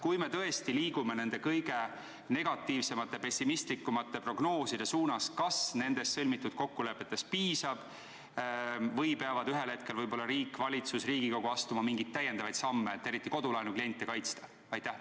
Kui me tõesti liigume kõige negatiivsemate, pessimistlikumate prognooside täitumise suunas, kas siis nendest sõlmitud kokkulepetest piisab või peavad ühel hetkel riik, valitsus ja Riigikogu astuma mingeid täiendavaid samme, et eriti kodulaenu kliente kaitsta?